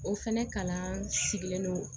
O fɛnɛ kalan sigilen don